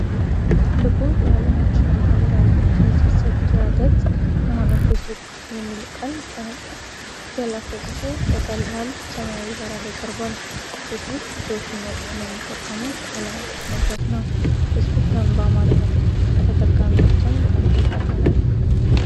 ትልቁ የዓለማችን የማኅበራዊ ትስስር ድረ-ገጽ የሆነው "ፌስቡክ" የሚል ቃል በነጭ ፊደላት ተጽፎ በቀላል ሰማያዊ ዳራ ላይ ቀርቧል። ፌስቡክ ብዙ ሰዎች የሚያውቁትና የሚጠቀሙት ዓለም አቀፍ መድረክ ነው። ፌስቡክ ለምን በአማርኛ ተጠቃሚዎች ዘንድ በጣም ተወዳጅ ሆነ?